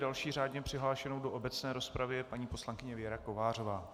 Další řádně přihlášenou do obecné rozpravy je paní poslankyně Věra Kovářová.